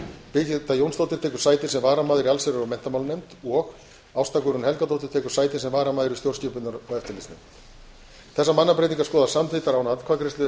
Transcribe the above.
birgitta jónsdóttir tekur sæti sem varamaður í allsherjar og menntamálanefnd og ásta guðrún helgadóttir tekur sæti sem varamaður í stjórnskipunar og eftirlitsnefnd þessar mannabreytingar skoðast samþykktar án atkvæðagreiðslu